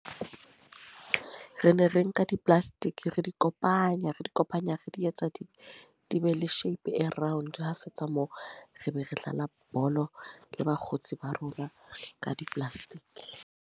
Re ne re nka di plastic. Re di kopanya, re di kopanya, re di etsa di di be le shape e round. Ha fetsa moo. Re be re dlala bolo le bakgotsi ba rona ka di plastic.